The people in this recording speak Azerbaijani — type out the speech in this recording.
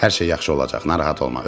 Hər şey yaxşı olacaq, narahat olma.